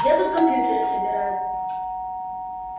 я тут компьютеры собираю